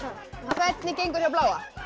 hvernig gengur hjá bláa